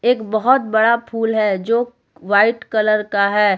एक बहोत बड़ा फूल है जो वाइट कलर का है।